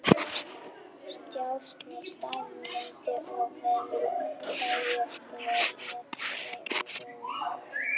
Stjáni staðnæmdist í svefnherbergisdyrunum og leit yfir vígvöllinn.